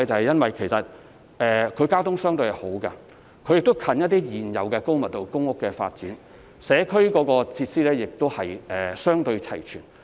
因為這些寮屋區的交通相對較為方便，並且鄰近一些高密度的公營房屋發展項目，而社區設施亦相對齊全。